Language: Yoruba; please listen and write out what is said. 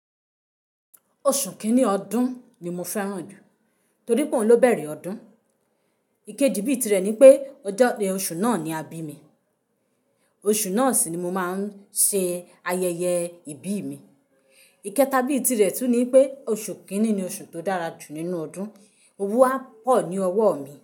Oṣù kini ọdún ni mo fẹ́ràn jù, torí pé òun ló bẹ̀rẹ̀ ọdún. Ikeji bíi tirẹ̀ nipẹ ọjọ́, oṣù náà ni àbí mi. Oṣù náà sì ni mo ma ń ṣe ayẹyẹ ibi mi. Ikẹta bíi tirẹ̀ tún nipẹ oṣù kini ni oṣù tó dára jù nínú ọdún, owu a pọ ní ọwọ́ mi.